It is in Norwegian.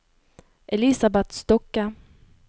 Elisabet Stokke